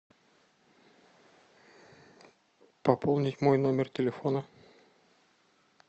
пополнить мой номер телефона